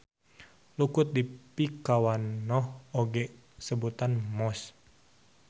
Lukut dipikawanoh oge ku sebutan mosss.